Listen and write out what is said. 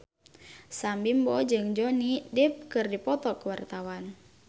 Sam Bimbo jeung Johnny Depp keur dipoto ku wartawan